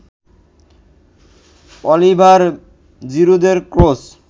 Oliver জিরুদের cross